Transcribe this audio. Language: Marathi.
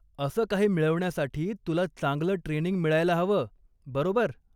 असं काही मिळवण्यासाठी तुला चांगलं ट्रेनिंग मिळायला हवं, बरोबर?